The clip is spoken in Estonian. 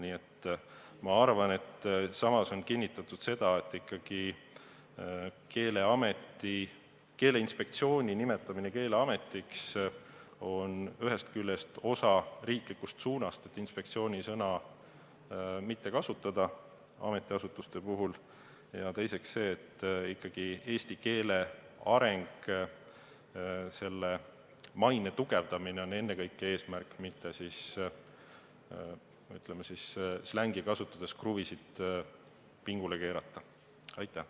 Nii et ma arvan, et seletuskirjas on kinnitatud seda, et Keeleinspektsiooni nimetamine Keeleametiks on ühest küljest osa riiklikust suunast, et "inspektsiooni" sõna mitte kasutada ametiasutuste puhul, ja teisest küljest on ennekõike eesmärk eesti keele areng ja selle maine tugevdamine, mitte – kasutan siin slängi – kruvide pingule keeramine.